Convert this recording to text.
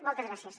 moltes gràcies